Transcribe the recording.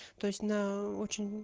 то есть на очень